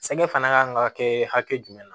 Sankɛ fana kan ka kɛ hakɛ jumɛn na